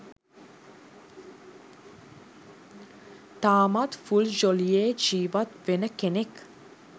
තාමත් ෆුල් ජොලියේ ජීවත් වෙන කෙනෙක්.